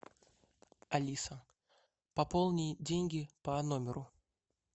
алиса пополни деньги по номеру